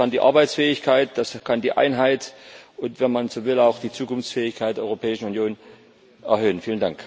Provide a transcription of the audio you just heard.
Und das kann die Arbeitsfähigkeit, das kann die Einheit und, wenn man so will, auch die Zukunftsfähigkeit der Europäischen Union erhöhen.